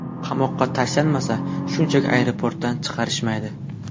Qamoqqa tashlashmasa, shunchaki aeroportdan chiqarishmaydi.